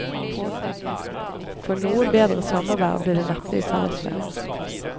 For noe bedre sommervær blir det neppe i fellesferien.